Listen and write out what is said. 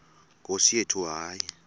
nkosi yethu hayi